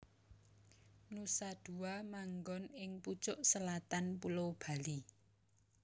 Nusa Dua manggon ing pucuk selatan Pulo Bali